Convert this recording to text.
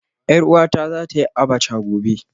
Yar uwata za ta yi Abacha gobe